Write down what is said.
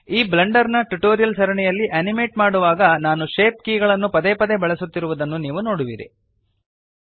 ಈ ಬ್ಲೆಂಡರ್ ನ ಟ್ಯುಟೋರಿಯಲ್ಸ್ ಸರಣಿಯಲ್ಲಿ ಅನಿಮೇಟ್ ಮಾಡುವಾಗ ನಾನು ಶೇಪ್ ಕೀಗಳನ್ನು ಪದೇಪದೇ ಬಳಸುತ್ತಿರುವುದನ್ನು ನೀವು ನೋಡುವಿರಿ